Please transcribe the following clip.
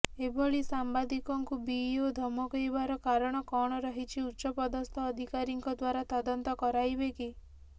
ଏଭଳି ସାମ୍ବାଦିକଙ୍କୁ ବିଇଓ ଧମକେଇବାର କାରଣ କଣ ରହିଛି ଉଚ ପଦସ୍ତ ଅଧିକାରୀଙ୍କ ଦ୍ବାରା ତଦନ୍ତ କରାଇବେକି